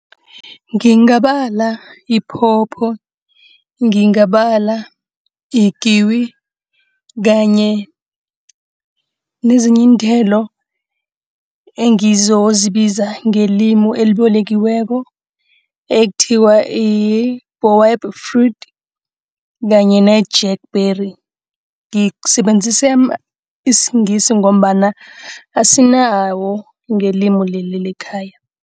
Ngingabala ipopo, ngingabala ikiwi kanye nezinye iinthelo engizozibiza ngelimi elibolekiweko. Ekuthiwa yi-baobab fruit kanye ne-jack berry ngisebenzise isiNgisi ngombana asinawo ngelimi leli lekhaya.